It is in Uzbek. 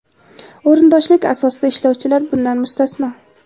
o‘rindoshlik asosida ishlovchilar bundan mustasno.